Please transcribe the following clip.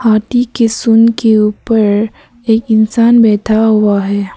हाथी के सुन के ऊपर एक इंसान बैठा हुआ है।